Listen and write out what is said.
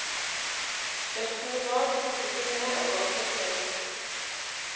Best som det var, hoppet hun ned og ga seg på veien.